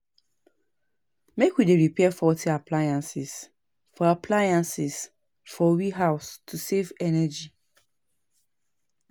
Make we dey repair faulty appliances for appliances for we house to save energy.